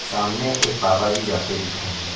सामने एक बाबाजी जाते दिख रहे हैं।